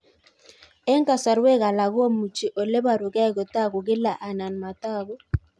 Eng' kasarwek alak komuchi ole parukei kotag'u kila anan matag'u